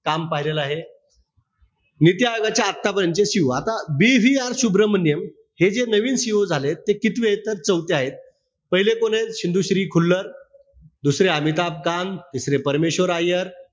काम पाहिलेलं आहे. नीती आयोगाच्या आतापर्यंतचे CEO आता BVR सुभ्रमण्यम हे जे नवीन CEO झाले. ते कितवेत? तर चौथे आहेत. पहिले कोणे? शिंदुश्री खुल्लर, दुसरे अमिताभ कान, तिसरे परमेश्वर अय्यर,